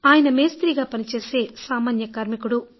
ఆయన మేస్త్రీగా పనిచేసే సామాన్య కార్మికుడు